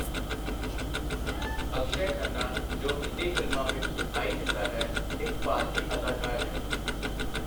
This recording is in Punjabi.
ਅਕਸ਼ੈ ਖੰਨਾ ਜੋ ਹਿੰਦੀ ਫ਼ਿਲਮਾਂ ਵਿੱਚ ਦਿਖਾਈ ਦਿੰਦਾ ਹੈ, ਇੱਕ ਭਾਰਤੀ ਅਦਾਕਾਰ ਹੈ।